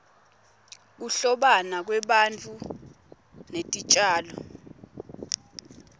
kuhlobana kwebantfu netitjalo